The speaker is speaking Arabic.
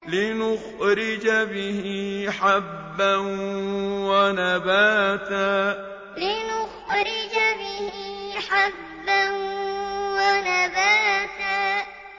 لِّنُخْرِجَ بِهِ حَبًّا وَنَبَاتًا لِّنُخْرِجَ بِهِ حَبًّا وَنَبَاتًا